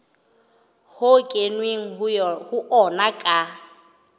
ho kenweng ho ona ka